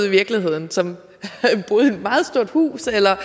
i virkeligheden og som boede i et meget stort hus altså